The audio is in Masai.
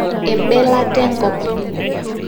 embelata enkop